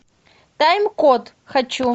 тайм код хочу